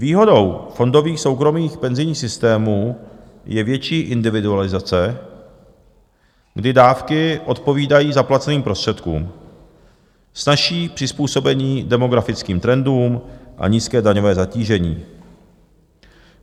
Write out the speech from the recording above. Výhodou fondových soukromých penzijních systémů je větší individualizace, kdy dávky odpovídají zaplaceným prostředkům, snazší přizpůsobení demografickým trendům a nízké daňové zatížení.